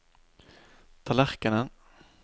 tallerkenen